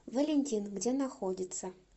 валентин где находится